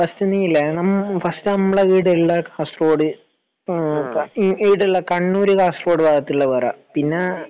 first നീയില്ലെ first നമ്മളെ ഈടെയുള്ള കാസറഗോഡ് കണ്ണൂപിന്നെ ർ കാസറഗോഡ് ഭാഗത്തുള്ളത് പറ